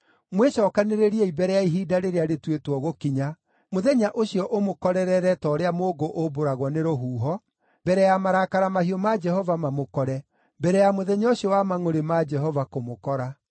Mwĩcookanĩrĩriei mbere ya ihinda rĩrĩa rĩtuĩtwo gũkinya, mũthenya ũcio ũmũkorerere ta ũrĩa mũũngũ ũmbũragwo nĩ rũhuho, mbere ya marakara mahiũ ma Jehova mamũkore, mbere ya mũthenya ũcio wa mangʼũrĩ ma Jehova kũmũkora.